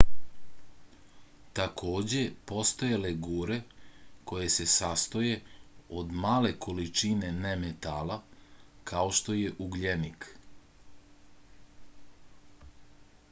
takođe postoje legure koje se sastoje od male količine nemetala kao što je ugljenik